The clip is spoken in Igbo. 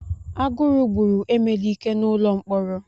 Agụrụ gburu emelike n'ụlọ mkpọrọ.